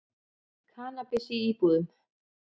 Kannabis í íbúðum